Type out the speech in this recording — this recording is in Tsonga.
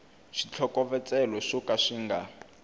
switlhokovetselo swo ka swi nga